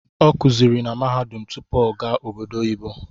Ọ kuziri na mahadum tutpu ọ gaa obodo oyibo